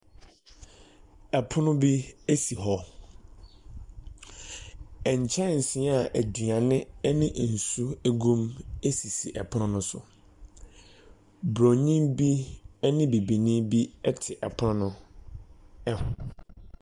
Ɛpono bi esi hɔ, nkyɛnsen a aduane ɛne nsuo egu mu esisi ɛpono no so, bronii bi ɛne bibinii bi ɛte ɛpono no ɛho.